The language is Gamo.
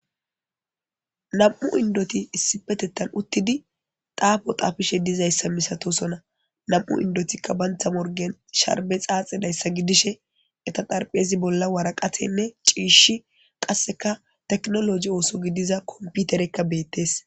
nam7u indoti issipetettan uttidi taafo tafishe dizayssa misatosona nam7u indotikka bantha morgen sharbe xaaxedayssa gidishe eta darpheyezi bolla waraqathenne ciishi qasseka teknologi ooso gidiza komputerekka beettes